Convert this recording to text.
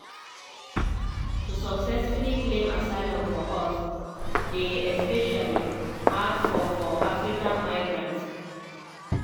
to successfully claim asylum for us dey especially hard for for african migrants.